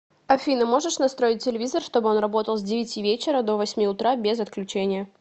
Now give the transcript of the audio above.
афина можешь настроить телевизор чтобы он работал с девяти вечера до восьми утра без отключения